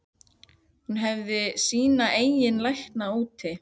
Hún hefði sína eigin lækna úti.